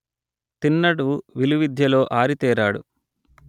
తిన్నడు విలువిద్యలో ఆరితేరాడు